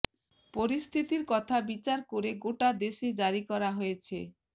পরিস্থিতির কথা বিচার করে গোটা দেশে জারি করা হয়েছে